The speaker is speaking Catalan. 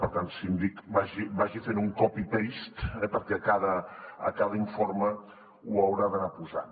per tant síndic vagi fent un copypaste perquè a cada informe ho haurà d’anar posant